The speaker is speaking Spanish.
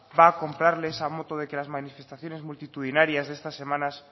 va a comprarle esa moto de que las manifestaciones multitudinarias de esta semana